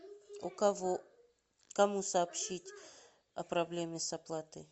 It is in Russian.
у кого кому сообщить о проблеме с оплатой